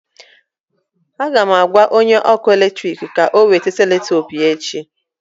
M ga-agwa onye ọkụ eletrik ka ọ weta selutepu ya echi